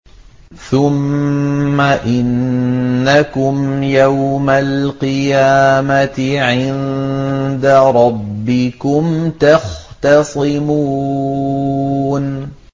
ثُمَّ إِنَّكُمْ يَوْمَ الْقِيَامَةِ عِندَ رَبِّكُمْ تَخْتَصِمُونَ